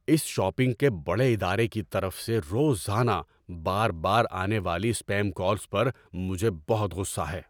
اس shopping کے بڑے ادارے کی طرف سے روزانہ بار بار آنے والی اسپیم کالز پر مجھے بہت غصہ ہے۔